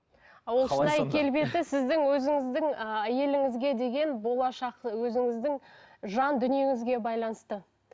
а ол шынай келбеті сіздің өзіңіздің ы әйеліңізге деген болашақ ы өзіңіздің жан дүниеңізге байланысты